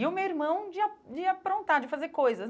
E o meu irmão de a de aprontar, de fazer coisas.